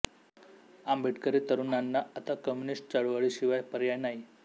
आंबेडकरी तरुणांना आता कम्युनिस्ट चळवळी शिवाय पर्याय नाही